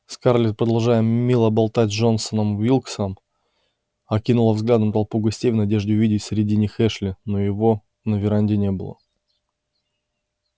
скарлетт продолжая мило болтать с джоном уилксом окинула взглядом толпу гостей в надежде увидеть среди них эшли но его на веранде не было